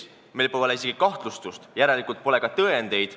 Meil pole isegi kahtlustust, järelikult pole ka tõendeid.